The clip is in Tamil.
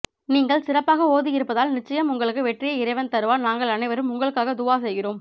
நீங்கள் சிறப்பாக ஓதி இருப்பதால் நிச்சயம் உங்களுக்கு வெற்றியை இறைவன் தருவான் நாங்கள் அனைவரும் உங்களுக்காக துஆ செய்கிறோம்